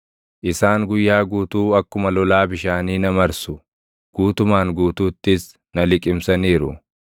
Isaan guyyaa guutuu akkuma lolaa bishaanii na marsu; guutumaan guutuuttis na liqimsaniiru.